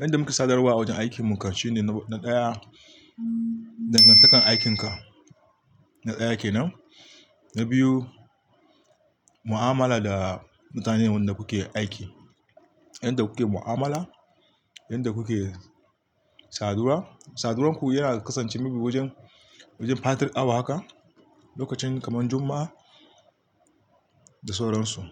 Yanda muke sadarwa a wajen aikin mu karshi ne na ɗaya, dangantakar aikinka, na ɗaya ke nan. Na biyu, mu'amala da mutanen da kuke aiki. Yanda kuke mu'amala, yanda kuke saduwa. Saduwarku yana kasancewa wajen, wajen fatal awa haka lokacin kaman Juma'a da sauran su.